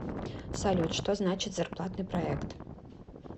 салют что значит зарплатный проект